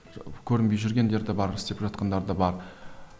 көрінбей жүргендер де бар істеп жатқандар да бар